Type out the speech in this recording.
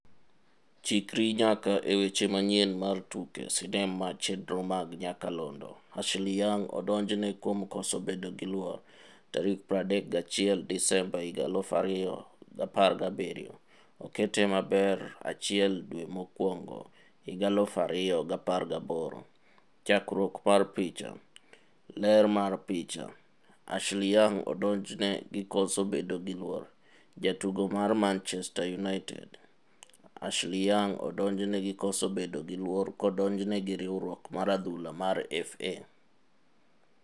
Chikri nyaka e weche manyien mar tuke sinema chenro mag nyakalondo, Ashley Young odonjne kuom koso bedo gi luor 31 Desemba 2017. Okete maber 1 dwe mokwongo 2018. Chakruok mar picha. Reuters. Ler mar picha. Ashley Young odonjne gi koso bedo gi luor. Jatugo mar Mchezaji wa Manchester United. Ashley Young odonjne gi koso bedo gi luor kodonjne gi riwruok mar adhula mar FA.